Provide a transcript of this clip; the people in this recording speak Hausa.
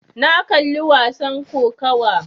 Na kalli wasan kokawa.